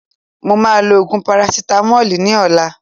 Mo ma lo òògùn parasitamoli ní ọ̀la.